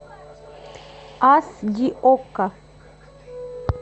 ас ди окко